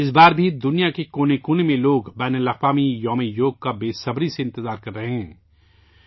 اس بار بھی دنیا کے کونے کونے میں لوگ یوگا کے عالمی دن کا بے صبری سے انتظار کر رہے ہیں